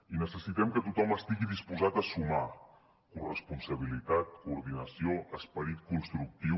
i necessitem que tothom estigui disposat a sumar corresponsabilitat coordinació esperit constructiu